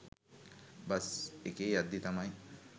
bus එකේ යද්දී තමයි